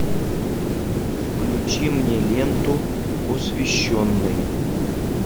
включи мне ленту посвященный